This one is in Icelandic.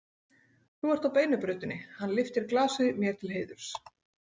Þú ert á beinu brautinni, hann lyftir glasi mér til heiðurs.